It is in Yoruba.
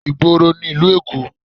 Ìgboro nílùú Èkó